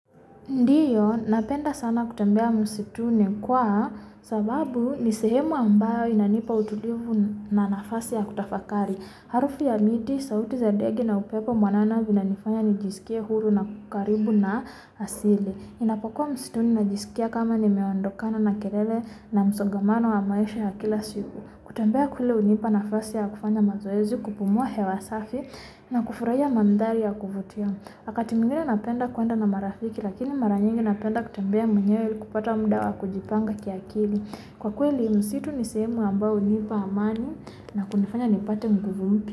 Ndio, napenda sana kutembea msituni, kwa sababu ni sehemu ambayo inanipa utulivu na nafasi ya kutafakari. Harufu ya miti, sauti za ndege na upepo mwanana inanifanya nijisikie huru na karibu na asili. Ninapokuwa msituni najisikia kama nimeondokana na kelele na msongamano wa maisha ya kila siku. Kutembea kule hunipa nafasi ya kufanya mazoezi, kupumua hewa safi na kufurahia mandhari ya kuvutia. Wakati mwingine napenda kuenda na marafiki, lakini mara nyingi napenda kutembea mwenyewe ili kupata muda wa kujipanga kiakili. Kwa kweli msitu ni sehemu ambayo hunipa amani na kunifanya nipate nguvu mpya.